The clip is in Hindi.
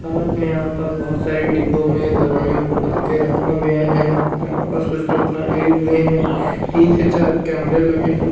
साथ में यहां पास बहोत सारी डिब्बों में दवाइयां को भर के रखा गया है यहां पर कुछ लोग खड़े हुए हैं तीन से चार कैमरे लगे हैं।